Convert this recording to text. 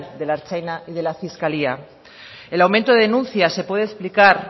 de la ertzaintza y de la fiscalía el aumento de denuncias se puede explicar